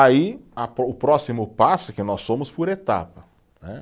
Aí, a po, o próximo passo é que nós fomos por etapa, né.